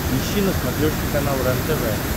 ищи на смотрешке канал рентв